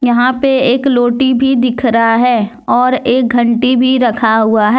यहां पे एक लोटी भी दिख रहा है और एक घंटी भी रखा हुआ है।